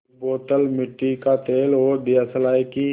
एक बोतल मिट्टी का तेल और दियासलाई की